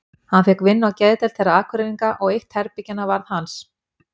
Hann fékk vinnu á geðdeild þeirra Akureyringa og eitt herbergjanna varð hans.